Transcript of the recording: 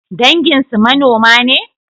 Danginsu manoma ne?